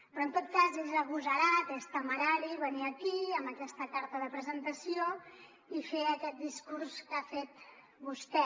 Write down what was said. però en tot cas és agosarat és temerari venir aquí amb aquesta carta de presentació i fer aquest discurs que ha fet vostè